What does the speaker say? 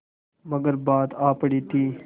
मगर बात आ पड़ी थी